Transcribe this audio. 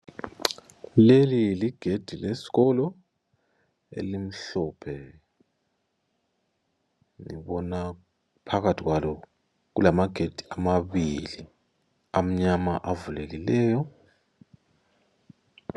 Leli ligedi lesikolo elimhlophe ngibona phakathi kwalo kulamagedi amabili amnyama avulekileyo.